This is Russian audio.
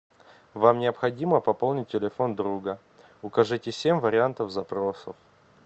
вам необходимо пополнить телефон друга укажите семь вариантов запросов